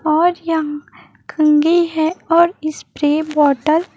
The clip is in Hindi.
और यहाँ कंगी है और स्प्रे बॉटल --